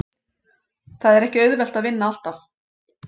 Það er ekki auðvelt að vinna alltaf.